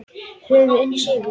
Höfum unnið sigur.